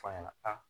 F'a ɲɛna a